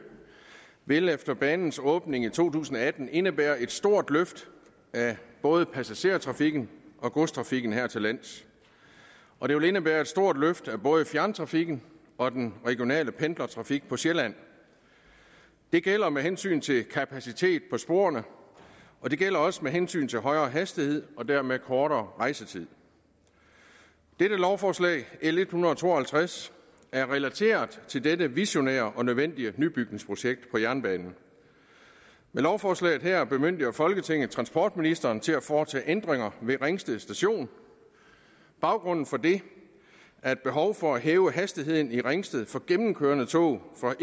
vil efter banens åbning i to tusind og atten indebære et stort løft af både passager og godstrafikken her til lands og det vil indebære et stort løft af både fjerntrafikken og den regionale pendlertrafik på sjælland det gælder med hensyn til kapacitet på sporene og det gælder også med hensyn til højere hastighed og dermed kortere rejsetid dette lovforslag l en hundrede og to og halvtreds er relateret til dette visionære og nødvendige nybygningsprojekt på jernbanen med lovforslaget her bemyndiger folketinget transportministeren til at foretage ændringer ved ringsted station baggrunden for det er et behov for at hæve hastigheden i ringsted for gennemkørende tog fra